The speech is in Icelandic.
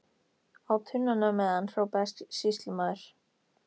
Á tunnuna með hann, hrópaði sýslumaður.